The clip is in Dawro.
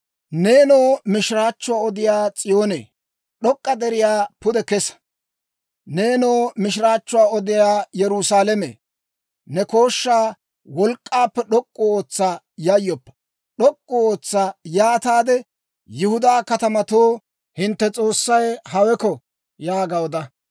Neenoo mishiraachchuwaa odiyaa S'iyoonee, d'ok'k'a deriyaa pude kesa; nenoo mishiraachchuwaa odiyaa Yerusaalame, ne kooshshaa wolk'k'aappe d'ok'k'u ootsa; yayyoppa; d'ok'k'u ootsa; yaataade Yihudaa katamatoo, «Hintte S'oossay haweko» yaaga oda.